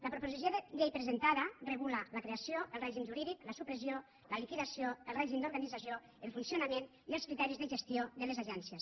la proposició de llei presentada regula la creació el règim jurídic la supressió la liquidació el règim d’organització el funcionament i els criteris de gestió de les agències